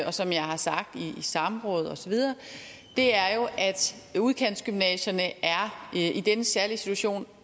og som jeg har sagt i samråd osv er jo at udkantsgymnasierne er i denne særlige situation